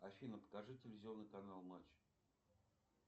афина покажи телевизионный канал матч